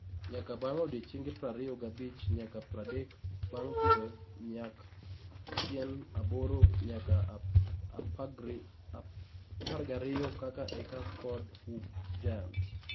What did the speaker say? Nyak bang odiechenge prariyo gabich nyaka pradek bang pitho- Nyak: tn aboro nyaka apagriyo ka eka Ford Hook Giant